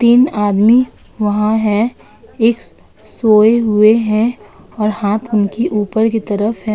तीन आदमी वहाँ हैं एक सोए हुए हैं और हाथ उनकी ऊपर की तरफ है।